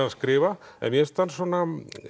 að skrifa en mér finnst hann svona